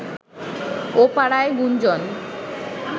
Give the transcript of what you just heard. ও পাড়ায় গুঞ্জন